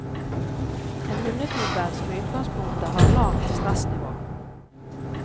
En hundetype som i utgangspunktet har lavt stressnivå.